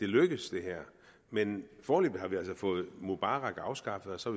lykkes men foreløbig har vi altså fået mubarak afskaffet og så